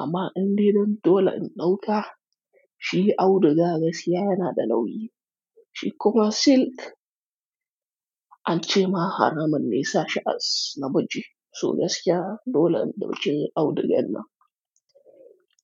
Amma indai dan dole in ɗauka, shi auduga gaskiya yana da nauyi. Shi kuma silk an ce ma haramun ne sa shi ana namiji. To gaskiya dole in ɗauke auduga nan.